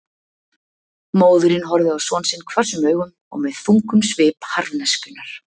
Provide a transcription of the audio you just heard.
Móðirin horfði á son sinn hvössum augum og með þungum svip harðneskjunnar.